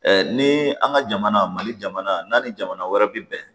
ni an ka jamana mali jamana n'an ni jamana wɛrɛ bɛ bɛn